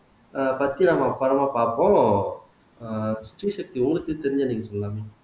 ஆஹ் பத்தி நாம படமா பார்ப்போம் ஆஹ் ஸ்ரீசக்தி உங்களுக்கே தெரிஞ்சது நீங்க சொல்லலாமே